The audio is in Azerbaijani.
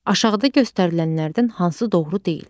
Aşağıda göstərilənlərdən hansı doğru deyil?